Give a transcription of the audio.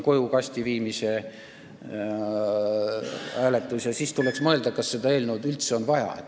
Ja siis tuleks mõelda, kas seda eelnõu on üldse vaja.